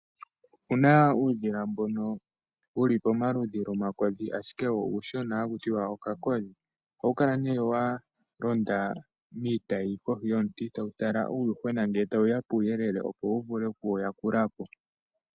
Opuna uudhila mbono wuli pomaludhi lwomakodhi ashike wo uushona haku tiwa okakodhi. Ohawu kalawa walonda miitayi koi yomuti tawu tala uuyuhwena ngele tawuya puuyelele opo wuvule okuwu yakulapo.